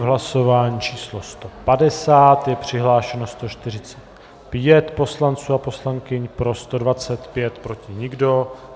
V hlasování číslo 150 je přihlášeno 145 poslanců a poslankyň, pro 125, proti nikdo.